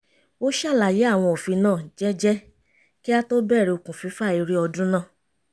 ó ṣàlàyé àwọn òfin náà jẹ́jẹ́ kí á tó bẹ̀rẹ̀ okùn fífà eré ọdún náà